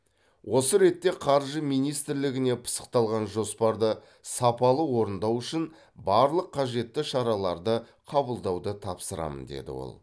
осы ретте қаржы министрлігіне пысықталған жоспарды сапалы орындау үшін барлық қажетті шараларды қабылдауды тапсырамын деді ол